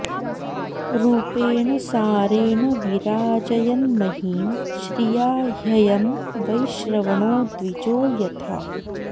रूपेण सारेण विराजयन्महीं श्रिया ह्ययं वैश्रवणो द्विजो यथा